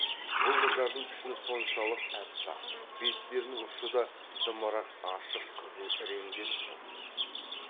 бұл қыздардың пішіні соншалық аппақ беттерінің ұшы да дымырақ ашық қызыл реңденіп тұр